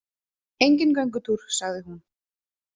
Enginn göngutúr, sagði hún.